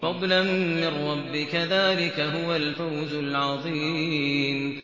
فَضْلًا مِّن رَّبِّكَ ۚ ذَٰلِكَ هُوَ الْفَوْزُ الْعَظِيمُ